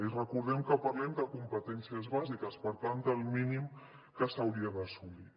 i recordem que parlem de competències bàsiques per tant del mínim que s’hauria d’assolir